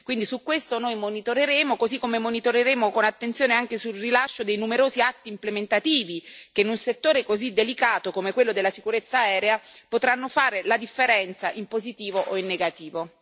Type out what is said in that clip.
Quindi su questo noi monitoreremo, così come monitoreremo con attenzione anche sul rilascio dei numerosi atti implementativi, che in un settore così delicato come quello della sicurezza aerea potranno fare la differenza in positivo o in negativo.